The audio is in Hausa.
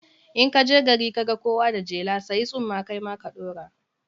In ka je gari ka ga kowa da jela, sayi tsumma kai ma ka ɗaura.